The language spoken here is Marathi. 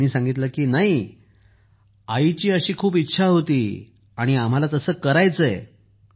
तेव्हा त्यांन सांगितलं की नाही मम्मीची अशी खूप इच्छा होती आणि आम्हाला तसं करायचं आहे